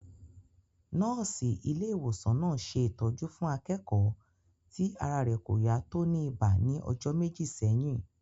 Nọ́ọ̀sì ilé ìwòsàn náà ṣe ìtọ́jú fún akẹ́kọ̀ọ́ ti ara rẹ̀ kò yá tó ní ibà ní ọjọ́ méjì sẹ́yìn